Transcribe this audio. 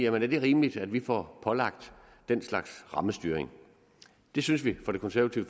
er det rimeligt at vi får pålagt den slags rammestyring det synes vi fra det konservative